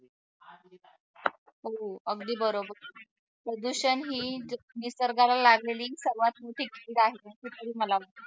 हो अगदी बरोबर प्रदूषण हे निसर्गाला लागलेली सर्वात मोठी